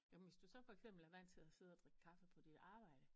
Jo men hvis du så for eksempel er vant til at sidde at drikke kaffe på dit arbejde